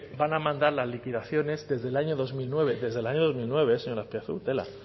van a mandar las liquidaciones desde el año dos mil nueve desde el año dos mil nueve señor azpiazu tela